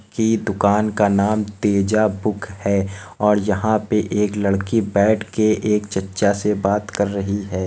कि दुकान का नाम तेजा बुक है और यहाँ पर एक लड़की बैठ के एक चच्चा से बात कर रही है।